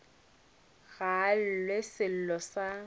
ga a llelwe sello sa